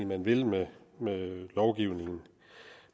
man vil med lovgivningen